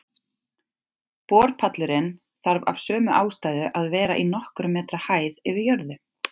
Borpallurinn þarf af sömu ástæðu að vera í nokkurra metra hæð yfir jörðu.